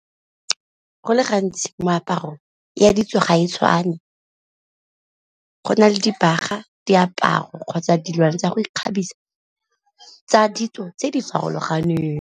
Go le gantsi moaparong ya ditso ga e tshwane, go na le dibaga, diaparo kgotsa dilwana tsa go ikgabisa tsa ditso tse di farologaneng.